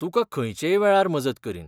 तुका खंयचेय वेळार मजत करीन!